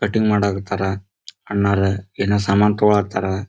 Cutting ಮಾಡಕ್ ಹತ್ತರ ಅಣ್ಣರ ಏನೋ ಸಾಮಾನ್ ತೊಗೋಲಾಥರ.